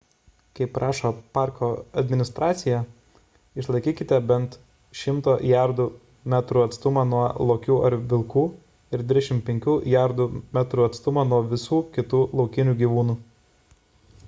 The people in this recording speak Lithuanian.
kaip prašo parko administracija išlaikykite bent 100 jardų / metrų atstumą nuo lokių ar vilkų ir 25 jardų / metrų atstumą nuo visų kitų laukinių gyvūnų